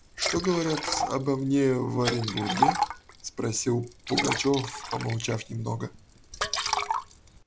что говорят обо мне в оренбурге спросил пугачёв помолчав немного